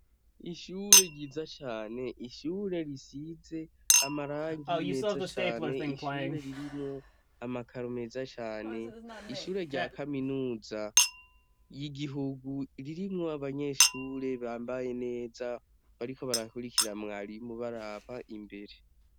Ishure ryiza cane ishure risize amarangi meza cane ishure ririmwo amakaro meza cane ishure ryakaminuza yigiguhu ririmwo abanyeshure bambaye neza bariko barakurikira mwarimu baraba imbere